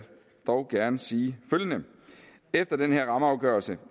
dog gerne sige følgende efter den her rammeafgørelse